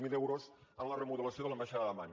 zero euros en la remodelació de l’ambaixada d’amman